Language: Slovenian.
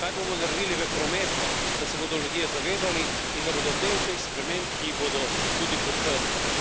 Kaj bomo naredili v prometu, da se bodo ljudje zavedali in da bodo del teh sprememb, ki jih bodo tudi podprli.